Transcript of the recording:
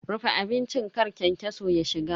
Rufe abincin kar kyankyaso ya shiga.